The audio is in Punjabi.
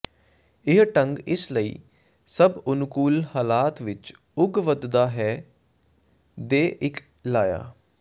ਇਹ ਢੰਗ ਇਸ ਲਈ ਸਭ ਅਨੁਕੂਲ ਹਾਲਾਤ ਵਿਚ ਉਗ ਵਧਦਾ ਹੈ ਦੇ ਇੱਕ ਲਾਇਆ